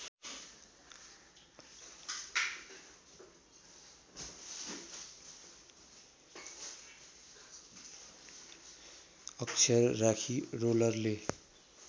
अक्षर राखी रोलरले